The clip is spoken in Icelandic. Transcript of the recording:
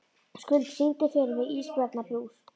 Skuld, syngdu fyrir mig „Ísbjarnarblús“.